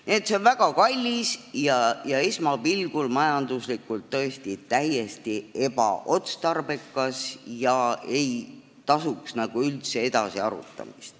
Nii et see on väga kallis ja esmapilgul majanduslikult tõesti täiesti ebaotstarbekas ning seda ei tasuks nagu üldse edasi arutada.